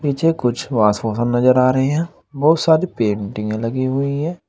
नीचे कुछ वॉश वोशन नजर आ रहे हैं। बहुत सारी पेंटिंगें लगी हुई हैं।